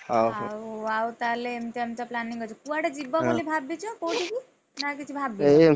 ଆଉ ଆଉ ତାହେଲେ ଏମତିଆ ଏମତିଆ planning ଅଛି, କୁଆଡେ ଯିବ ବୋଲି ଭାବିଛ କୋଉଠିକି, ନା କିଛି ଭାବିନ? ଏହି,